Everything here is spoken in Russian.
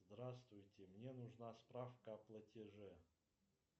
здравствуйте мне нужна справка о платеже